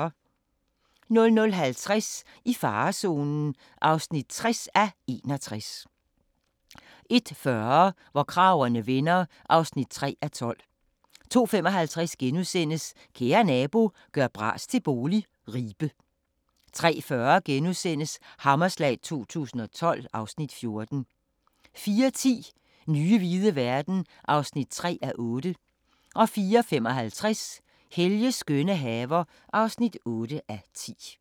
00:50: I farezonen (60:61) 01:40: Hvor kragerne vender (3:12) 02:55: Kære nabo – gør bras til bolig – Ribe * 03:40: Hammerslag 2012 (Afs. 14)* 04:10: Nye hvide verden (3:8) 04:55: Helges skønne haver (8:10)